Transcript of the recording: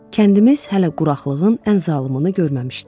Kəndimiz hələ quraqlığın ən zalımını görməmişdi.